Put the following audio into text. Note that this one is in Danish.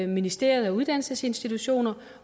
ministerie og uddannelsesinstitutioner